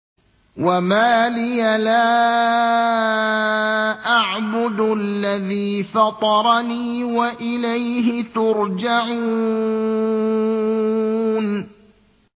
وَمَا لِيَ لَا أَعْبُدُ الَّذِي فَطَرَنِي وَإِلَيْهِ تُرْجَعُونَ